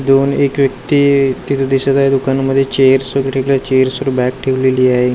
दुरून एक व्यक्ती तिथं दिसतं आहे. दुकानांमध्ये चेअर्स वगैरे इकडं चेअर्स वर बॅग ठेवलेली आहे.